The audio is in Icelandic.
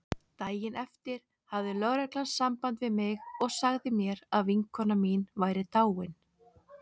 Daginn eftir hafði lögreglan samband við mig og sagði mér að vinkona mín væri dáin.